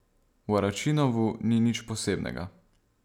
V Aračinovu ni nič posebnega.